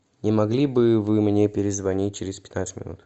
не могли бы вы мне перезвонить через пятнадцать минут